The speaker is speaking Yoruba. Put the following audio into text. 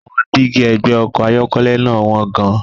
Àwọn dígí ẹ̀gbẹ́ ọkọ̀ ayọ́kẹ́lẹ́ náà wọ́n gan-an.